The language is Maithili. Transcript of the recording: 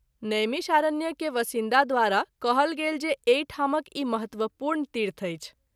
नैमिषारण्य के वसिन्दा द्वारा कहल गेल जे एहि ठामक ई महत्वपूर्ण तीर्थ अछि।